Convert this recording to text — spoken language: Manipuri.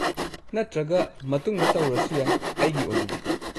ꯅꯠꯇ꯭ꯔꯒ ꯃꯇꯨꯡꯗ ꯇꯧꯔꯁꯨ ꯌꯥꯏ ꯑꯩꯒꯤ ꯑꯣꯏꯅꯗꯤ꯫